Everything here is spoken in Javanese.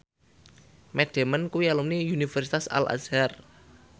Matt Damon kuwi alumni Universitas Al Azhar